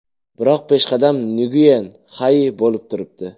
Biroq peshqadam Nguyen Xai bo‘lib turibdi.